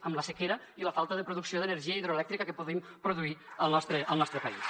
amb la sequera i la falta de producció d’energia hidroelèctrica que podríem produir al nostre país